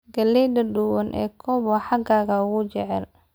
Galleyda duban ee cob waa xagaaga ugu jecel.